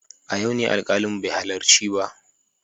A yau ne alkalin bai halarci ba.